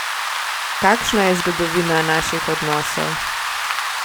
Kakšna je zgodovina naših odnosov?